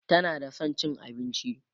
tana da San cin abinci